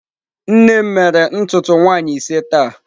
Nne m mere ntutu nwaanyi ise taa.